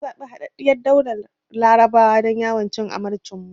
Na zabi Haɗaɗɗiyar Daular Larabawa don yawon cin amarcin mu.